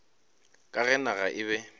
ka ge naga e be